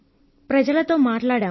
ప్రజలతో మాట్లాడాం